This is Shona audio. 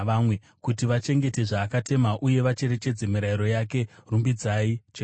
kuti vachengete zvaakatema uye vacherechedze mirayiro yake. Rumbidzai Jehovha.